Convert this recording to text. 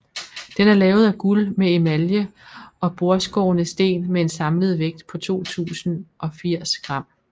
Den er lavet af guld med emalje og bordskårne sten med en samlet vægt på 2080 g